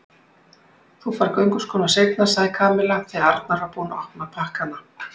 Þú færð gönguskóna seinna sagði Kamilla þegar Arnar var búinn að opna pakkana.